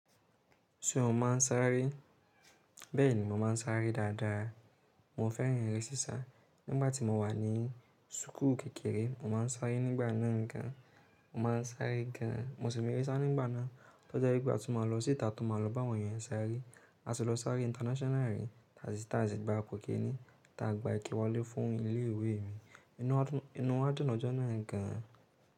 Ṣé o máa ń sáré? Bẹ́ẹ̀ni, mo máa ń sáré dáadáa. Mo fẹ́ràn eré sísá. Nígbà tí mo wà ní súkù kékeré, mo máa ń sáré nígbà náà gan. Mo máa ń sáré gan. Mo sì me re sá nígbà náà. Tọ́jẹ gbà tí mo máa lọ sí ìta tí mo máa lọ bá àwọn èèyàn sáré. A sì lọ sáré international rí, tàbí tàbí ti a gbá kò kíni, tí a gba ìkéwì wọlé fún ilé ìwé mi. Inú wadùn lọjọ́ náà gan.